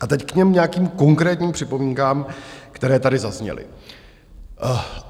A teď k těm nějakým konkrétním připomínkám, které tady zazněly.